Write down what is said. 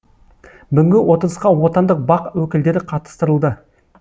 бүгінгі отырысқа отандық бақ өкілдері қатыстырылды